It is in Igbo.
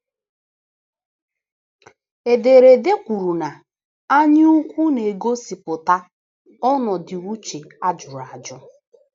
Ederede kwuru na anyaukwu na - egosipụta “ ọnọdụ uche a jụrụ ajụ. ”